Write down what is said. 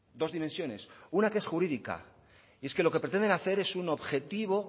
dos dimensiones una que es jurídica y es que lo que pretenden hacer es un objetivo